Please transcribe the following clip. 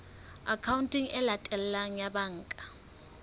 akhaonteng e latelang ya banka